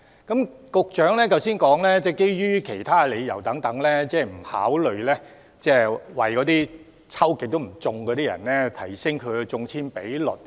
局長剛才表示，基於其他各種理由，不考慮提升屢次申請落空的人士的中籤機會。